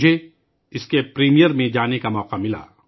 مجھے اس کے پریمیئر میں جانے کا موقع ملا